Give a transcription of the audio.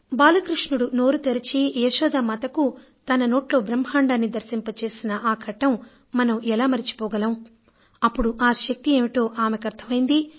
బాలకృష్ణుడు నోరు తెరచి యశోదామాతకు తన నోట్లో బ్రహ్మాండాన్ని దర్శింపజేసిన ఘట్టం మనం ఎలా మరచిపోగలం అప్పుడు ఆ శక్తి ఏమిటో ఆమెకు అర్థమైంది